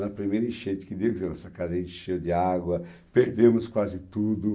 Na primeira enchente que deu, quer dizer, nossa casa encheu de água, perdemos quase tudo.